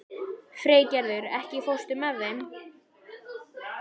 Freygerður, ekki fórstu með þeim?